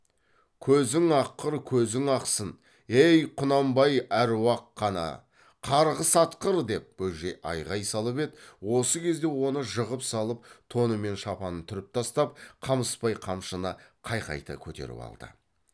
көзің аққыр көзің ақсын ей құнанбай аруақ қаны қарғыс атқыр деп бөжей айғай салып еді осы кезде оны жығып салып тоны мен шапанын түріп тастап қамысбай қамшыны қайқайта көтеріп алды